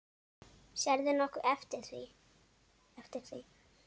Sérðu nokkuð eftir því?